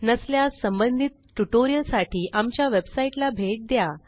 नसल्यास संबंधित ट्युटोरियलसाठी आमच्या वेबसाईटला भेट द्या